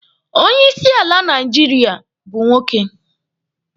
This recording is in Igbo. Onye isi ala Naijiria bụ nwoke.